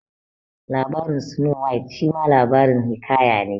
Labarin Snow White shima labarin hiƙaya ne